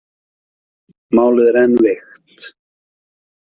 Málið er enn veikt.